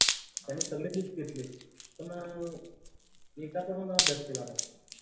त्याने सगळे books घेतले पण अं एकाचा पण अभ्यास केला नाही.